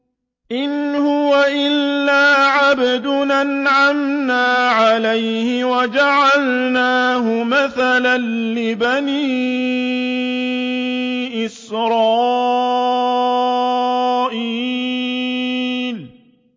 إِنْ هُوَ إِلَّا عَبْدٌ أَنْعَمْنَا عَلَيْهِ وَجَعَلْنَاهُ مَثَلًا لِّبَنِي إِسْرَائِيلَ